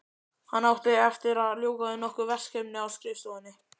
Hann átti eftir að ljúka við nokkur verkefni á skrifstofunni.